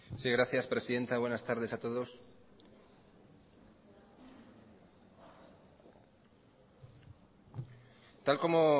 sí gracias presidenta buenas tardes a todos tal como